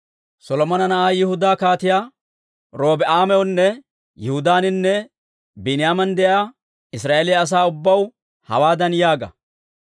«Solomona na'aa Yihudaa Kaatiyaa Robi'aamawunne Yihudaaninne Biiniyaaman de'iyaa Israa'eeliyaa asaa ubbaw hawaadan yaaga;